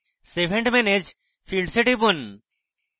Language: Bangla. save and manage fields এ টিপুন